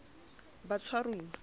batshwaruwa